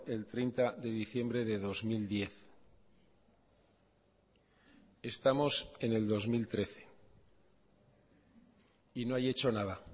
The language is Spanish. el treinta de diciembre de dos mil diez estamos en el dos mil trece y no hay hecho nada